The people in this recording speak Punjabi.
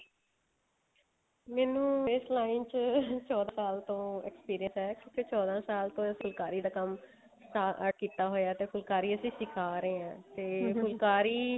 ਮੈਨੂੰ ਇਸ line ਚ ਚੋਦਾਂ ਸਾਲ ਤੋਂ experience ਹੈ ਕਿਉਂਕਿ ਚੋਦਾਂ ਸਾਲ ਤੋਂ ਫੁਲਕਾਰੀ ਦਾ ਕੰਮ start ਕੀਤਾ ਹੋਇਆ ਤੇ ਫੁਲਕਾਰੀ ਅਸੀਂ ਸਿਖਾ ਰਹੇ ਹਾਂ ਫੁਲਕਾਰੀ